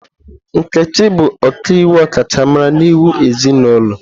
Nkechi bụ ọkaiwu ọkachamara n'iwu ezinụlọ.